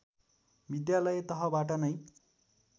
विद्यालय तहबाट नै